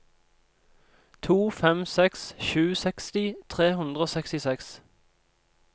to fem seks sju seksti tre hundre og sekstiseks